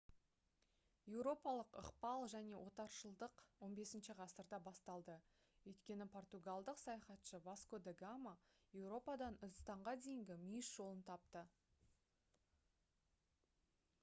еуропалық ықпал мен отаршылдық 15 ғасырда басталды өйткені португалдық саяхатшы васко да гама еуропадан үндістанға дейінгі мүйіс жолын тапты